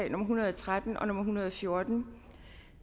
en hundrede og tretten og en hundrede og fjorten